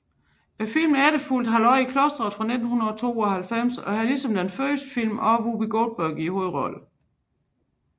Filmen efterfulgte Halløj i klostret fra 1992 og har ligesom den første film også Whoopi Goldberg i hovedrollen